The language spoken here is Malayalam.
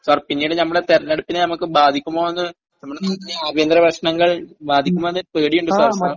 സാർ പിന്നീട് ഞമ്മടെ തെരഞ്ഞെടുപ്പിനെ നമുക്ക് ബാധിക്കുമോ ന്...നമ്മുടെ നാട്ടിലെ ആഭ്യന്തര പ്രശ്‍നങ്ങൾ ബാധിക്കുമോന്നൊരു പേടിയുണ്ട് സാർ...